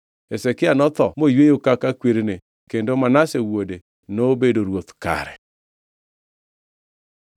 Hezekia notho moyweyo kaka kwerene kendo Manase wuode nobedo ruoth kare.